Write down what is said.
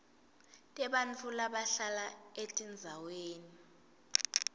tebantfu labahlala etindzaweni